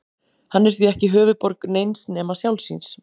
Hann er því ekki höfuðborg neins nema sjálfs sín.